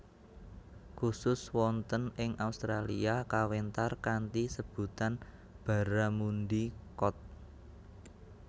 Khusus wonten ing Australia kawéntar kanthi sebutan Barramundi Cod